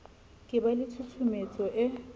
ka ba le tshusumetso e